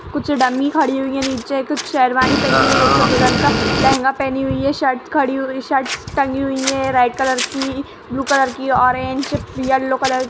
कुछ डमी खड़ी हुई है। नीचे कुछ शेरवानी पहनी है। एक दुल्हन का लहंगा पहनी हुई है। शर्ट्स खड़ी हुई शर्ट्स टंगी हुई है रेड कलर की ब्लू कलर की ऑरेंज येलो कलर --